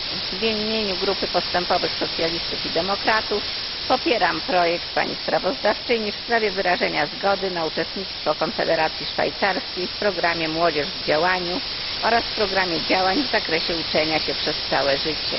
W imieniu Grupy Postępowego Sojuszu Socjalistów i Demokratów popieram projekt pani sprawozdawczyni w sprawie wyrażenia zgody na uczestnictwo Konfederacji Szwajcarskiej w programie Młodzież w działaniu oraz w programie działań w zakresie uczenia się przez całe życie.